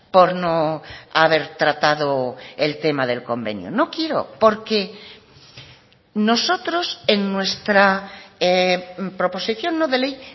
por no haber tratado el tema del convenio no quiero porque nosotros en nuestra proposición no de ley